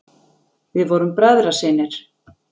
Við vorum bræðrasynir.